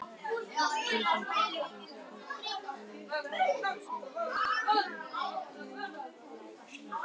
Gísli gekk að sófanum, tók upp lausar sessurnar, og benti mér að koma.